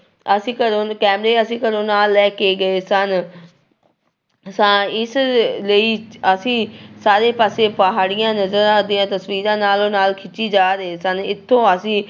ਅਸੀਂ ਘਰੋਂ ਕਹਿੰਦੇ ਅਸੀਂ ਘਰੋਂ ਨਾਲ ਲੈ ਕੇ ਗਏ ਸਨ ਸਾਂ ਇਸ ਲਈ ਅਸੀਂ ਸਾਰੇ ਪਾਸੇ ਪਹਾੜੀਆਂ ਦੀਆਂ ਤਸ਼ਵੀਰਾਂ ਨਾਲੋ ਨਾਲ ਖਿੱਚੀ ਜਾ ਰਹੇ ਸਨ, ਇੱਥੋਂ ਅਸੀਂ